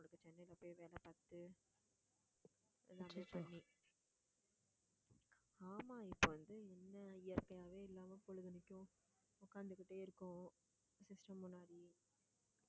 சென்னையில போய் வேலை பார்த்து எல்லாமே பண்ணி ஆமா இப்போ இயற்கையாவே இல்லாம பொழுதனைக்கும் உட்கார்ந்துகிட்டே இருக்கோம் system முன்னாடி